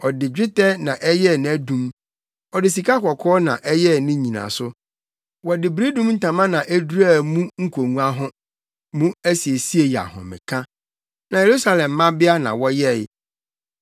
Ɔde dwetɛ na ɛyɛɛ nʼadum, ɔde sikakɔkɔɔ na ɛyɛɛ ne nnyinaso. Wɔde biridum ntama na eduraa mu nkongua ho; mu asiesie yɛ ahomeka na Yerusalem mmabea na wɔyɛe.